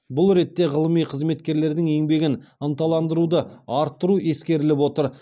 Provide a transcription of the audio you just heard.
бұл ретте ғылыми қызметкерлердің еңбегін ынталандыруды арттыру ескеріліп отыр